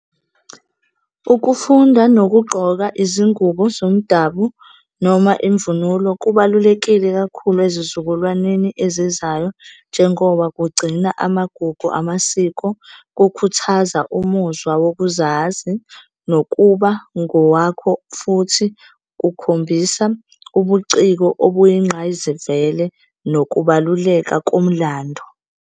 Ukufunda nokugqoka izingubo zomdabu noma imvunulo kubalulekile kakhulu ezizukulwaneni ezizayo njengoba kugcina amagugu amasiko, kukhuthaza umuzwa wokuzazi, nokuba ngowakho futhi kukhombisa ubuciko obuyingqayizivele, nokubaluleka komlandu.